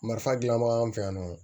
Marifa dilanbagaw fɛ yan nɔ